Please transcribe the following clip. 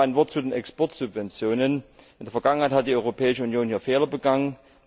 Noch ein Wort zu den Exportsubventionen In der Vergangenheit hat die Europäische Union hier Fehler begangen.